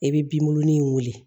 I bɛ binburunin wuli